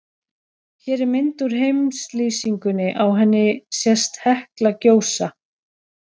Hér er mynd úr heimslýsingunni, á henni sést Hekla gjósa.